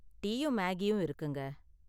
டீயும் மேகியும் இருக்குங்க.